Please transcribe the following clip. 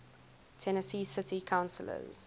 tennessee city councillors